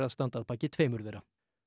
standa að baki tveimur þeirra